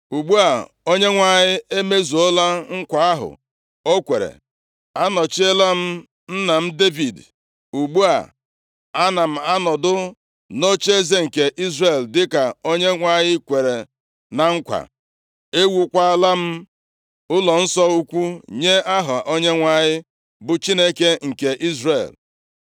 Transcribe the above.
“Ugbu a, Onyenwe anyị emezuola nkwa ahụ o kwere. A nọchiela m nna m Devid, ugbu a, ana m anọdụ nʼocheeze nke Izrel dịka Onyenwe anyị kwere na nkwa. Ewuokwala m ụlọnsọ ukwu nye Aha Onyenwe anyị, bụ Chineke nke Izrel.